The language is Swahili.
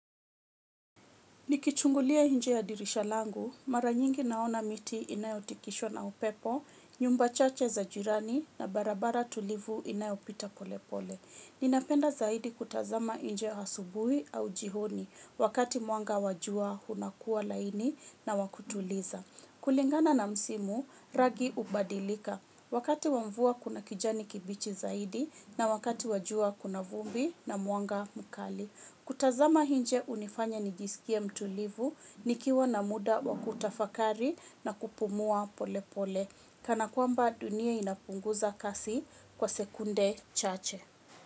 Nikichungulia nje ya dirisha langu, mara nyingi naona miti inayotikishwa na upepo, nyumba chache za jirani na barabara tulivu inayopita pole pole. Ninapenda zaidi kutazama nje asubuhi au jioni wakati mwanga wa jua unakuwa laini na wa kutuliza. Kulingana na msimu, rangi hubadilika. Wakati wa mvua kuna kijani kibichi zaidi na wakati wa jua kuna vumbi na mwanga mkali. Kutazama nje hunifanya nijisikie mtulivu, nikiwa na muda wa kutafakari na kupumua pole pole. Kana kwamba dunia inapunguza kasi kwa sekunde chache.